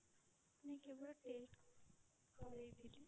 ନାଇଁ କେବଳ test କରେଇଥିଲି।